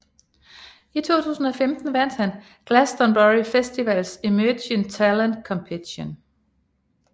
I 2015 vandt han Glastonbury Festivals Emerging Talent Competition